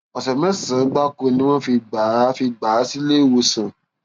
ọsẹ mẹsànán gbáko ni wọn fi gbà á fi gbà á sílé ìwòsàn